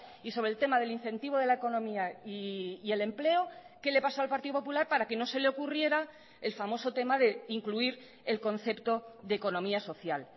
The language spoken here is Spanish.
y sobre el tema del incentivo de la economía y el empleo qué le pasó al partido popular para que no se le ocurriera el famoso tema de incluir el concepto de economía social